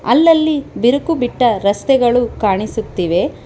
ಅಲಲ್ಲಿ ಬಿರುಕು ಬಿಟ್ಟ ರಸ್ತೆಗಳು ಕಾಣಿಸುತ್ತಿವೆ.